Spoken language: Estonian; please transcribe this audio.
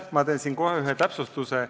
Ma teen kohe ühe täpsustuse.